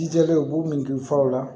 Jijalen u b'u min furaw la